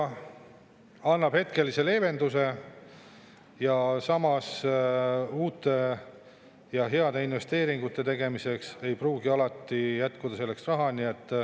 See annab hetkelise leevenduse, samas uute ja heade investeeringute tegemiseks ei pruugi alati raha jätkuda.